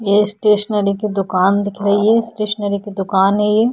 ये स्टेशनरी की दुकान दिख रही है। स्टेशनरी की दुकान है ये।